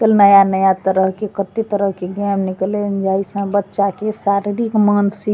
कल नया नया तरह के कते तरह के गेम निकलई य जइ से बच्चा के शारीरिक मानसिक --